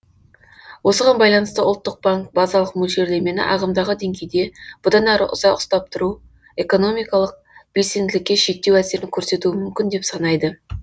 осыған байланысты ұлттық банк базалық мөлшерлемені ағымдағы деңгейде бұдан әрі ұзақ ұстап тұру экономикалық белсенділікке шектеу әсерін көрсетуі мүмкін деп санайды